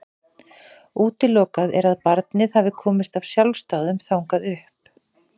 Útilokað er að barnið hafi komist af sjálfsdáðum þangað upp.